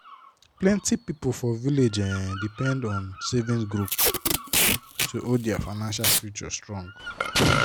plenty people for village dey um depend on savings group to hold their financial future strong.